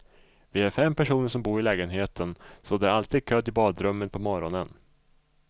Vi är fem personer som bor i lägenheten så det är alltid kö till badrummet på morgonen.